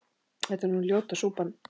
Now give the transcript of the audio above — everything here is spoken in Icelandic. þetta er nú ljóta súpan